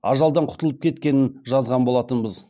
ажалдан құтылып кеткенін жазған болатынбыз